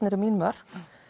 eru mín mörk